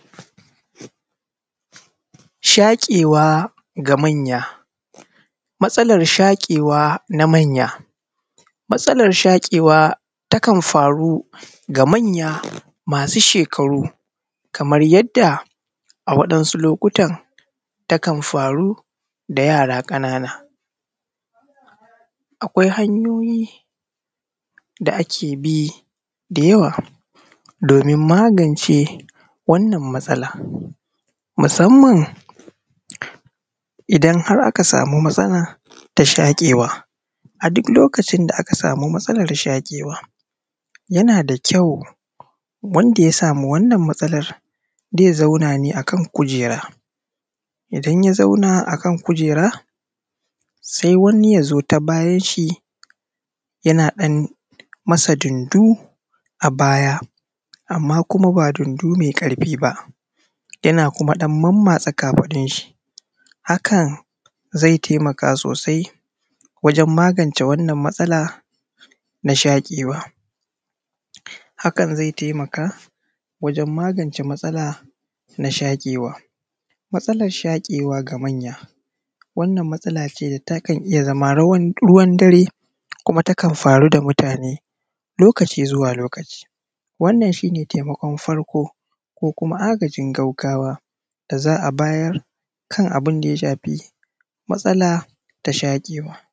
Shaƙewa ga manya matsalar shaƙewa na manya matsalar shaƙewa takan faru ga manya masu shekaru kaman da yawansu takan faru ga yara ƙanana. Akwai hanyoyi da ake bi da yawa domin magance wannan matsala, musamama idan har aka sama matsala ta shaƙewa, a duk lokacin da aka sama matsala ta shaƙewa, yana da kyau wanda ya sama wannan matsala, ze zauna ne akan kujera, idan zai ya zauna akan kujera se wani ya zo ta bayan shi, yana ɗan masa dundu a baya, anma kuma ba dundo mɛ ƙarfi ba, yana kuma ɗan manmatsa kafafun shi, hakan zai taimaka sossai wajen magance wannan matsala na shaƙewa. Hakan zai taimaka wajen magance matsala ma shaƙewa. Matsalar shaƙewa ga manya wannan matsala takan iya zama ruwan dare koma takan faru da matune lokacin zuwa a lokacin zuwa. Wannan shi ne taimakawa farko ko ko manya da agajin gaggawa da za a bayar kan abincin ya shafi matsala na shakewa.